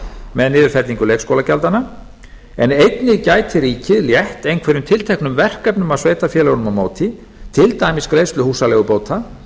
með niðurfellingu leikskólagjaldanna en einnig gæti ríkið létt einhverjum tilteknum verkefnum af sveitarfélögunum á móti til dæmis greiðslu húsaleigubóta